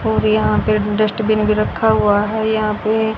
और यहां पे डस्टबिन भी रखा हुआ है यहां पे--